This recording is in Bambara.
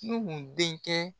Nuhun denkɛ